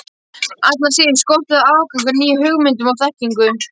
Allra síst, skorti það aðgang að nýjum hugmyndum og þekkingu.